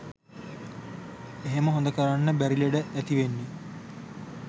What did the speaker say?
එහෙම හොඳ කරන්න බැරි ලෙඩ ඇතිවෙන්නෙ